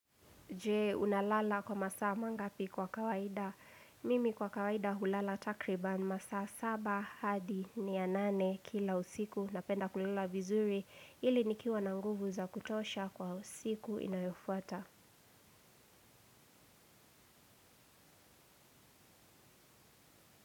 Jee, unalala kwa masaa mangapi kwa kawaida. Mimi kwa kawaida hulala takriban masaa saba hadi ni ya nane kila usiku na penda kulala vizuri ili nikiwa na nguvu za kutosha kwa usiku inayofuata.